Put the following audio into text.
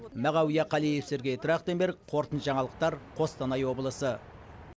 мағауия қалиев сергей трахтенберг қорытынды жаңалықтар қостанай облысы